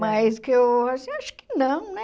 Mas que eu assim acho que não, né?